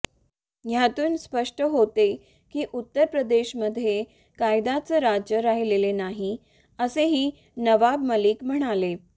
यातून स्पष्ट होते की उत्तरप्रदेशमध्ये कायद्याचं राज्य राहिलेले नाही असेही नवाब मलिक म्हणाले